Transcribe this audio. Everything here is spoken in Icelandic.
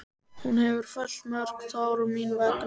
Hún hefur fellt mörg tár mín vegna.